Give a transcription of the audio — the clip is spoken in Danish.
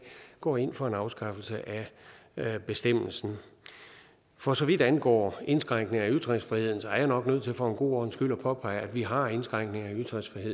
går ind for en afskaffelse af bestemmelsen for så vidt angår indskrænkning af ytringsfriheden er jeg nok nødt til for en god ordens skyld at påpege at vi har indskrænkninger i